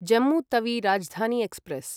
Jammu Tawi Rajdhani express